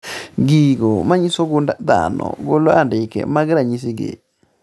Gigo manyiso gund dhano golo andike mag ranyisi gi